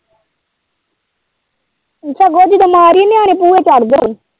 ਸਗੋਂ ਜਦੋਂ ਮਾਰੀਏ ਨਿਆਣੇ ਭੂਹੇ ਚੜਦੇ ਨੇ।